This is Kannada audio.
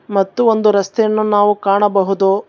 ಮತ್ತು ಒಂದು ರಸ್ತೆಯನ್ನು ನಾವು ಕಾಣಬಹುದು.